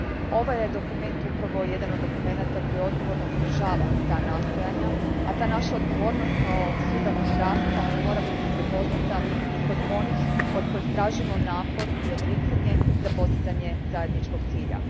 Ovaj je dokument upravo jedan od dokumenata koji odgovorno podržava ta nastojanja, a ta naša odgovornost kao suzakonodavac mora biti prepoznata i kod onih od kojih tražimo napor i odricanje za postizanje zajedničkog cilja.